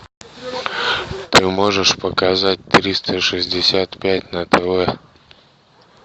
ты можешь показать триста шестьдесят пять на тв